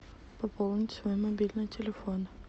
пополнить свой мобильный телефон